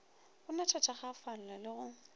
go natha thakgafala le go